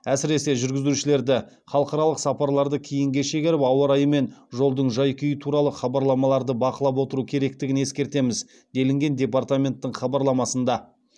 әсіресе жүргізушілерді халықаралық сапарларды кейінге шегеріп ауа райы мен жолдың жай күйі туралы хабарламаларды бақылап отыру керектігін ескертеміз делінген департаменттің хабарламасында